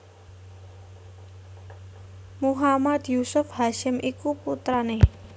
Muhammad Yusuf Hasyim iku putrané